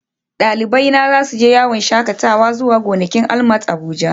Dalibaina za su je yawon shakatawa zuwa gonakin ALMAT Abuja